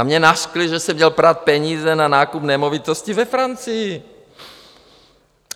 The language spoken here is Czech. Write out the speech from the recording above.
A mě nařkli, že jsem měl prát peníze na nákup nemovitostí ve Francii!